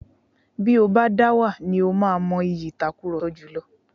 Bí o bá dáwà ni ó má mọ ìyí ìtakurọlsọ jùlọ.